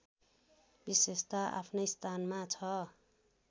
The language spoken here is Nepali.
विशेषता आफ्नै स्थानमा छ